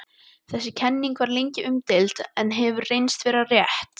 Þessi kenning var lengi umdeild en hefur reynst vera rétt.